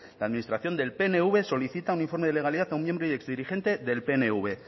la administración del pnv solicita un informe de legalidad aun miembro y exdirigente del pnv